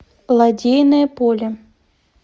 лодейное поле